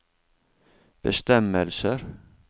bestemmelser